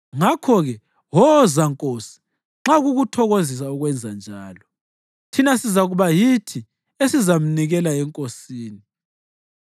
Ngakho-ke woza Nkosi nxa kukuthokozisa ukwenzanjalo, thina sizakuba yithi esizamnikela enkosini.”